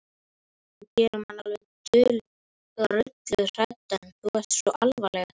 Þú gerir mann alveg drulluhræddan. þú ert svo alvarleg eitthvað.